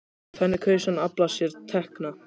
Þannig kaus hann að afla sér tekna.